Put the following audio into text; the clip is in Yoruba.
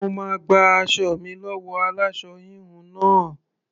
Mo máa gba aṣọ mi lọ́wọ́ aláṣọ-híhun náà.